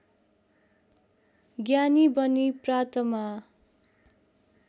ज्ञानी बनी प्रातमा